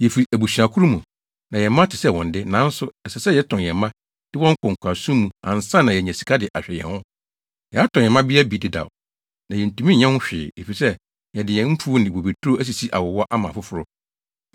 Yefi abusua koro mu, na yɛn mma te sɛ wɔn de. Nanso ɛsɛ sɛ yɛtɔn yɛn mma, de wɔn kɔ nkoasom mu ansa na yenya sika de ahwɛ yɛn ho. Yɛatɔn yɛn mmabea bi dedaw, na yentumi nyɛ ho hwee, efisɛ yɛde yɛn mfuw ne bobeturo asisi awowa ama afoforo.”